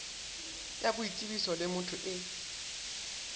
ya boitsebiso le motho e